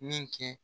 Min kɛ